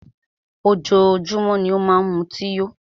Ojoójúmọ́ ni ó má n mutí yó.